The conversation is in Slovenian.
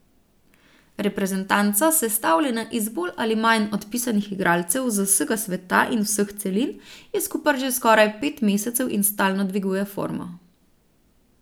Reprezentanca, sestavljena iz bolj ali manj odpisanih igralcev z vsega sveta in vseh celin, je skupaj že skoraj pet mesecev in stalno dviguje formo.